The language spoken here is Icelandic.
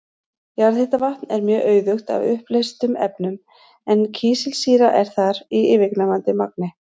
Jarðhitavatn er mjög auðugt af uppleystum efnum en kísilsýra er þar í yfirgnæfandi magni.